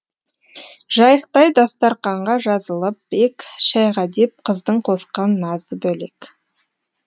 жайықтай дастарқанға жазылып ек шайға деп қыздың қосқан назы бөлек